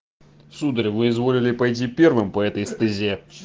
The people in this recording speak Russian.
сударь вы изволили пойти первым по этой стезе